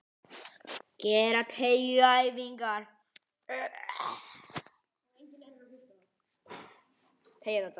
Gera teygjuæfingar.